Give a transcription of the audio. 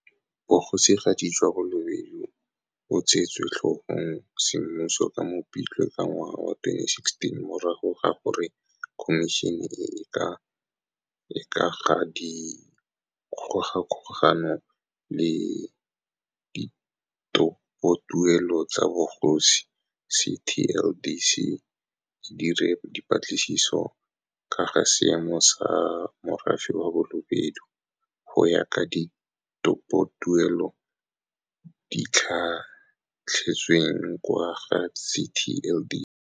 Bogosigadi jwa Balobedu bo tseetswe tlhogong semmuso ka Mopitlwe 2016 morago ga gore Khomišene e e ka ga Dikgogakgogano le Ditopotuelo tsa Bogosi, TLDC, e dire dipatlisiso ka ga seemo sa morafe wa Balobedu, go ya ka ditopotuelo tse di tlha tlhetsweng kwa ga CTLDC.